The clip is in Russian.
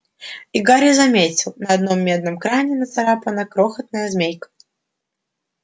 и гарри заметил на одном медном кране нацарапана крохотная змейка